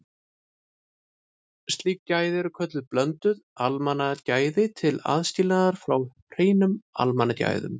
Slík gæði eru kölluð blönduð almannagæði til aðskilnaðar frá hreinum almannagæðum.